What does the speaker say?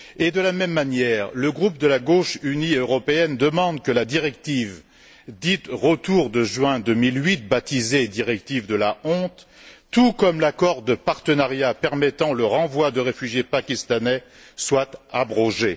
De la même manière, le groupe de la gauche unie européenne demande que la directive dite retour de juin 2008, baptisée directive de la honte, tout comme l'accord de partenariat permettant le renvoi de réfugiés pakistanais, soient abrogés.